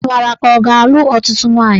Ị mara ka ọ ga-alụ ọtụtụ nwaanyị?